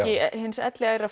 hins